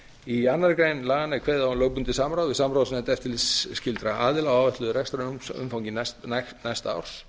í annarri grein laganna er kveðið á um lögbundið samráð við samráðsnefnd eftirlitsskyldra aðila á áætluðu rekstrarumfangi næsta árs